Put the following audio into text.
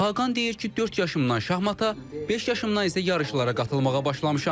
Xaqan deyir ki, dörd yaşımdan şahmanta, beş yaşımdan isə yarışlara qatılmağa başlamışam.